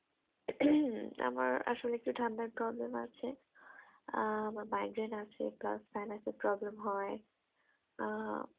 আমার আসলে একটু ঠান্ডার problem আছে আহ আমার migraine plass penis এ problem আহ